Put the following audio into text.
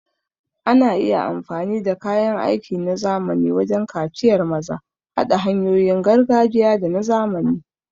Ana iya amfani da kayan aiki na zamani wajen kaciyar maza, haɗa hanyoyin gargajiya da na zamani.